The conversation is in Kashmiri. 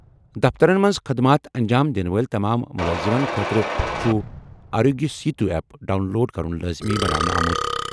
دفترن منٛز خٔدمات انجام دِنہٕ وٲلۍ تمام مُلٲزِمن خٲطرٕ چھُ Aarogya Setu app download کرُن لٲزمی بناونہٕ آمُت۔